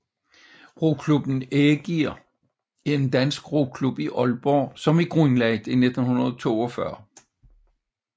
Roklubben Ægir er en dansk roklub i Aalborg som er grundlagt i 1942